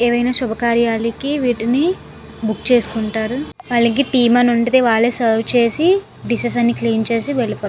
ఏవి ఆయన సుభాకరాలకి వేటిని బుక్ చేసుకుంటారు వాలకీ టీమ్ అని వుంటుంది. సర్వ్ చేసి డిషెస్ అని కడిగి వెళ్ళిపోతారు.